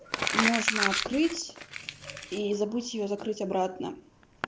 можно открыть и забыть её закрыть обратно